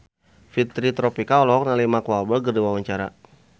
Fitri Tropika olohok ningali Mark Walberg keur diwawancara